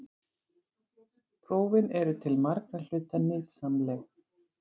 Prófin eru til margra hluta nytsamleg.